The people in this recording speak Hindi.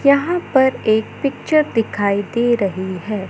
यहाँ पर एक पिक्चर दिखाई दे रहीं हैं।